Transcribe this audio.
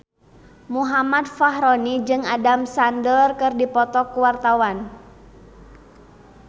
Muhammad Fachroni jeung Adam Sandler keur dipoto ku wartawan